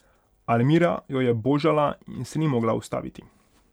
Almira jo je božala in ni se mogla ustaviti.